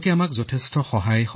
আমাৰ সৈতে চিকিৎসকো আহিছিল